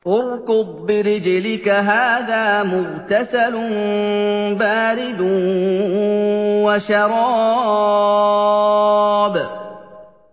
ارْكُضْ بِرِجْلِكَ ۖ هَٰذَا مُغْتَسَلٌ بَارِدٌ وَشَرَابٌ